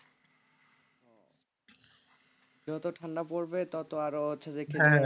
যত ঠান্ডা পড়বে তত আরো হচ্ছে যে